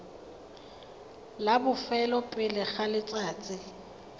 la bofelo pele ga letsatsi